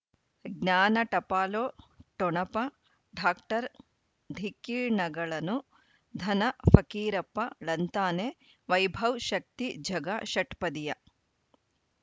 ಜ್ಞಾನ ಟಪಾಲು ಠೊಣಪ ಡಾಕ್ಟರ್ ಢಿಕ್ಕಿ ಣಗಳನು ಧನ ಫಕೀರಪ್ಪ ಳಂತಾನೆ ವೈಭವ್ ಶಕ್ತಿ ಝಗಾ ಷಟ್ಪದಿಯ